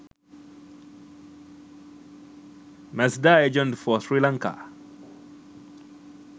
mazda agents for sri lanka